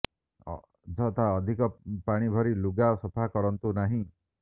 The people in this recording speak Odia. ଅଯଥା ଅଧିକ ପାଣି ଭରି ଲୁଗା ସଫା କରନ୍ତୁ ନାହିଁ